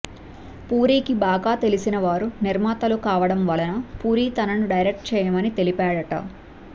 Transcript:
పూరి కి బాగా తెలిసిన వారు నిర్మాతలు కావడం వలన పూరి తనని డైరెక్ట్ చేయమని తెలిపాడట